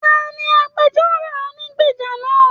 Taní agbẹ̀jọ́ro ònígbeja náà?